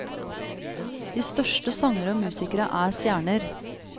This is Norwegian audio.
De største sangere og musikere er stjerner.